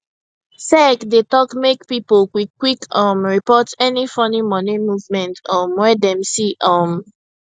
sec dey talk say make pipo quickquick um report any funny money movement um wey dem see um